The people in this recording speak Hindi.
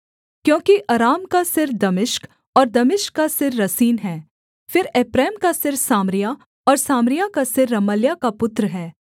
क्योंकि अराम का सिर दमिश्क और दमिश्क का सिर रसीन है फिर एप्रैम का सिर सामरिया और सामरिया का सिर रमल्याह का पुत्र है पैंसठ वर्ष के भीतर एप्रैम का बल इतना टूट जाएगा कि वह जाति बनी न रहेगी